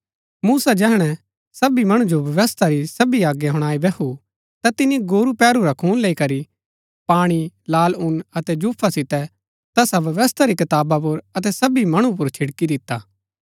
मूसा जैहणै सबी मणु जो व्यवस्था री सबी आज्ञा हुणाई बैहु ता तिनी गोरू पैहरू रा खून लेई करी पाणी लाल ऊन अतै जूफा सितै तैसा व्यवस्था री कताबा पुर अतै सबी मणु पुर छिड़की दिता